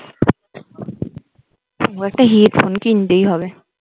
এবার একটা headphone কিনতেই হবে